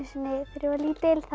var lítil